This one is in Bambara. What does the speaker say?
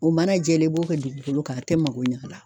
O mana jɛlen, i b'o kɛ dugukolo kan a tɛ mago ɲ'a la.